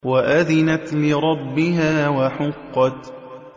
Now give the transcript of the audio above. وَأَذِنَتْ لِرَبِّهَا وَحُقَّتْ